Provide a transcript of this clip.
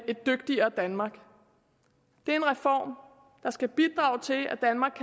et dygtigere danmark det er en reform der skal bidrage til at danmark